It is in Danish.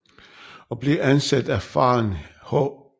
Og blev ansat i faren H